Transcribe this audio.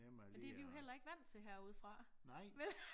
Men det vi jo heller ikke vant til herude fra vel